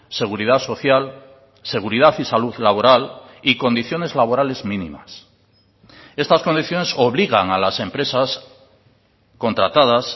seguridad social seguridad y salud laboral y condiciones laborales mínimas estas condiciones obligan a las empresas contratadas